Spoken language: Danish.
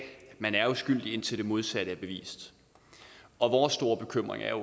man er uskyldig indtil det modsatte er bevist og vores store bekymring er